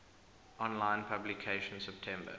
online publication september